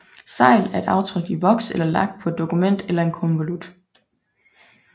Segl er et aftryk i voks eller lak på et dokument eller en konvolut